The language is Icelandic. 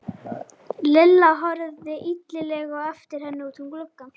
Lilla horfði illilega á eftir henni út um gluggann.